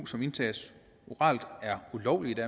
som indtages oralt er ulovligt